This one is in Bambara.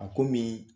A komi